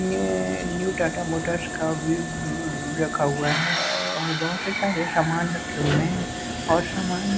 उ ने new Tata motors का व्यू उ रखा हुआ है और बहुत से सारे सामान रखे हुए हैं और सामान--